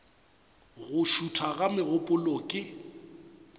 go šutha ga megopolo ke